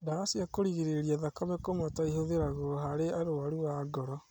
Ndawa cia kũrigĩrĩria thakame kũmata ihũthĩragwo harĩ arwaru a ngoro